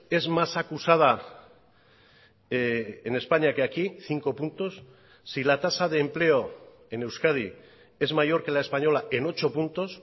es más acusada en españa que aquí cinco puntos si la tasa de empleo en euskadi es mayor que la española en ocho puntos